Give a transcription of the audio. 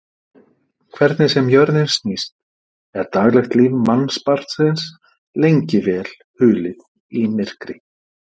Hvernig sem jörðin snýst er daglegt líf mannsbarnsins lengi vel hulið í myrkri.